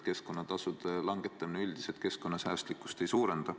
Keskkonnatasude langetamine üldiselt keskkonnasäästlikkust ei suurenda.